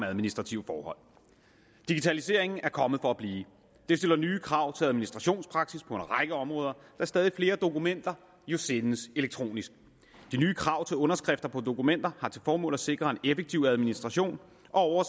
administrative forhold digitaliseringen er kommet for at blive det stiller nye krav til administrationspraksis på en række områder da stadig flere dokumenter jo sendes elektronisk de nye krav til underskrifter på dokumenter har til formål at sikre en effektiv administration og